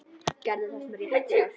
Gera það sem rétt er.